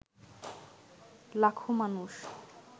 লাখো মানুষ